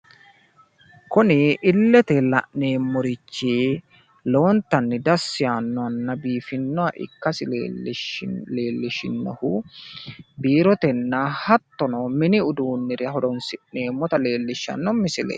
Kuni illete la'nemmorichi lowontanni dassi yaannonna biifinnoha ikkasi leellishinnohu biirotenna hattono mini uduunnira horonssi'neemmota leellishshanno misileeti.